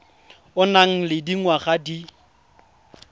o nang le dingwaga di